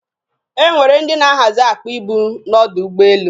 E nwere ndị na-ahazi akpa ibu n'ọdọ ụgbọelu.